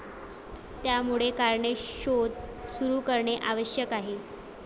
त्यामुळे कारणे शोध सुरू करणे आवश्यक आहे.